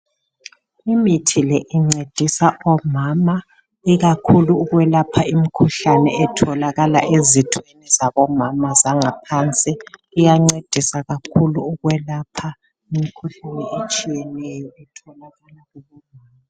Imithi le incedisa omama ikakhulu ukwelapha imkhuhlane etholakala ezithweni zabomama zangaphansi. Iyancedisa kakhulu ukwelapha imkhuhlane etshiyeneyo.